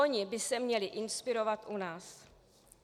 Oni by se měli inspirovat u nás.